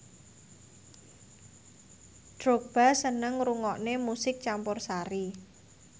Drogba seneng ngrungokne musik campursari